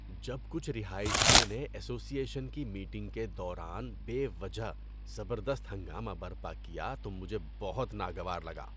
جب کچھ رہائشیوں نے ایسوسی ایشن کی میٹنگ کے دوران بے وجہ زبردست ہنگامہ برپا کیا تو مجھے بہت ناگوار لگا۔